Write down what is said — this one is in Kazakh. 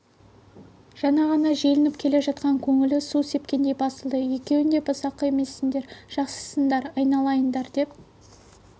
жаңа ғана желпініп келе жатқан көңілі су сепкендей басылды екеуің де бұзақы емессіңдер жақсысыңдар айналайындар деп